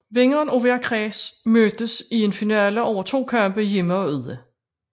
Vinderen af hver kreds mødtes i en finale over to kampe hjemme og ude